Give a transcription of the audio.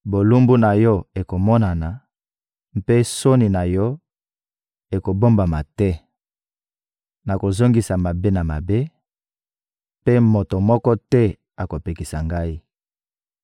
Bolumbu na yo ekomonana, mpe soni na yo ekobombama te. Nakozongisa mabe na mabe, mpe moto moko te akopekisa Ngai.